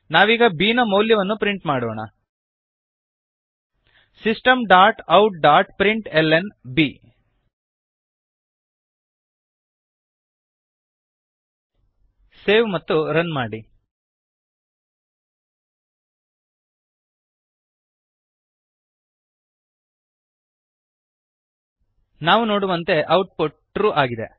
ನಾವೀಗ ಬಿ ನ ಮೌಲ್ಯವನ್ನು ಪ್ರಿಂಟ್ ಮಾಡೋಣ systemoutಪ್ರಿಂಟ್ಲ್ನ system dot out dot print L N B save ಮತ್ತು ರನ್ ಮಾಡಿ ನಾವು ನೋಡುವಂತೆ ಔಟ್ ಪುಟ್ ಟ್ರೂ ಟ್ರೂ ಆಗಿದೆ